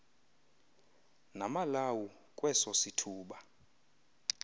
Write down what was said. lamalawu kweso sithuba